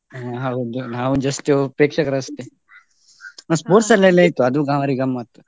ಹಾ ಹೌದು ನಾವು just ಪ್ರೇಕ್ಷಕರು ಅಷ್ಟೇ. ನಾವು ಅಲ್ಲೆಲ್ಲ ಇತ್ತು ಅದು ಭಾರಿ ಗಮ್ಮತ್ತು.